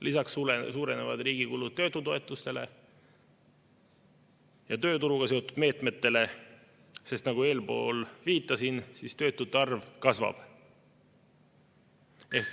Lisaks suurenevad riigi kulud töötutoetustele ja tööturuga seotud meetmetele, sest nagu eespool viitasin, töötute arv kasvab.